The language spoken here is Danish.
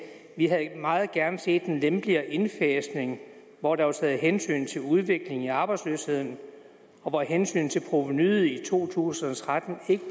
vi havde meget gerne set en lempeligere indfasning hvor der var taget hensyn til udviklingen i arbejdsløsheden og hvor hensynet til provenuet i to tusind og tretten